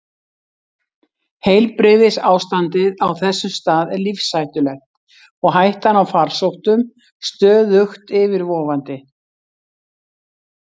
Heilbrigðisástandið á þessum stað er lífshættulegt og hættan á farsóttum stöðugt yfirvofandi.